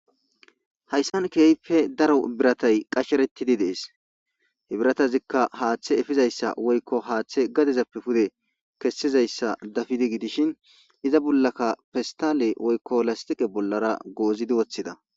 hayssan keyfe daro biratay qasheretidi dees hebiratazikka haaththe efizayssa woykko haaththe gadezappe pude kessizayssa dafidi gidishin iza bollaka festale woykko lastiqe bollara goozidi woththida